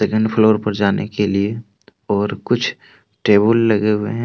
And floor पर जाने के लिए और कुछ टेबल लगे हुए हैं।